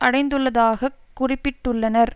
அடைந்துள்ளதாகக் குறிப்பிட்டுள்ளனர்